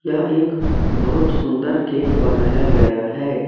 यह एक बहुत सुंदर केक बनाया गया है।